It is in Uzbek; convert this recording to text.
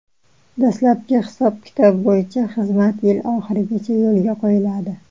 Dastlabki hisob-kitoblar bo‘yicha, xizmat yil oxirigacha yo‘lga qo‘yiladi.